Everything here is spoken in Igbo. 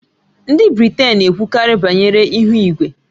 Ndị Britain na-ekwukarị banyere ihu igwe